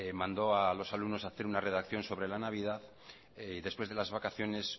mandó a los alumnos hacer una redacción sobre la navidad y que después de las vacaciones